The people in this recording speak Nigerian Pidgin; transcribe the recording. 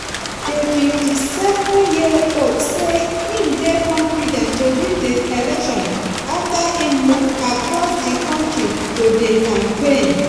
di 57-year-old say im dey confident to win di election afta im move across di kontri to dey campaign.